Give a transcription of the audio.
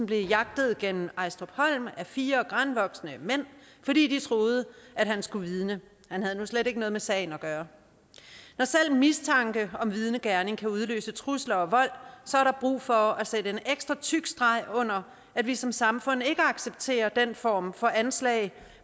blev jagtet gennem ejstrupholm af fire granvoksne mænd fordi de troede at han skulle vidne han havde nu slet ikke noget med sagen at gøre når selv en mistanke om vidnegerning kan udløse trusler om vold er der brug for at sætte en ekstra tyk streg under at vi som samfund ikke accepterer den form for anslag